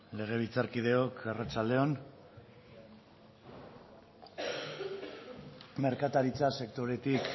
legebiltzarkideok arratsalde on merkataritza sektoretik